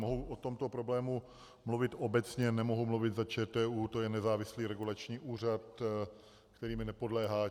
Mohu o tomto problému mluvit obecně, nemohu mluvit za ČTÚ, to je nezávislý regulační úřad, který mi nepodléhá.